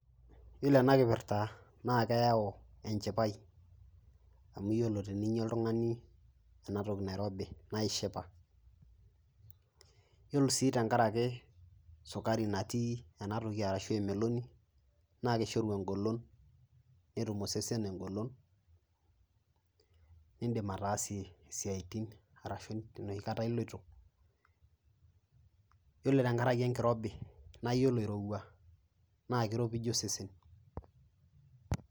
Iyiolo ena kipirta naake eyau enchipai amu iyiolo teninya oltung'ani ena toki nairobi naye ishipa. Iyiolo sii tenkaraki sukari natii ena toki anashe emeloni naake ishoru eng'olon netum osesen eng'olon niindim ataasie isiaitin arashu enoshi kata iloito, iyiolo tenkaraki enkirobi naa iyiolo irowua naake iropije osesen.